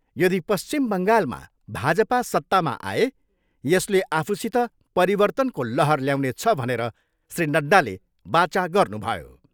यदि पश्चिम बङ्गालमा भाजपा सत्तामा आए यसले आफूसित परिर्तनको लहर ल्याउनेछ भनेर श्री नड्डाले वाचा गर्नुभयो।